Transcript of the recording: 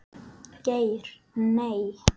Geir Nei.